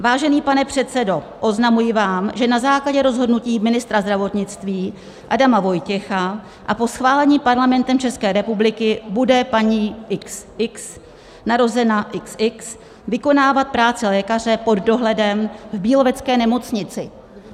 "Vážený pane předsedo, oznamuji vám, že na základě rozhodnutí ministra zdravotnictví Adama Vojtěcha a po schválení Parlamentem České republiky bude paní XX, narozena XX, vykonávat práci lékaře pod dohledem v Bílovecké nemocnici."